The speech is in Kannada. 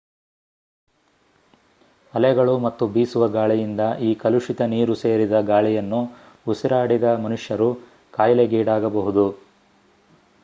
ಅಲೆಗಳು ಮತ್ತು ಬೀಸುವ ಗಾಳಿಯಿಂದ ಈ ಕಲುಷಿತ ನೀರು ಸೇರಿದ ಗಾಳಿಯನ್ನು ಉಸಿರಾಡಿದ ಮನುಷ್ಯರು ಕಾಯಿಲೆಗೀಡಾಗಬಹುದು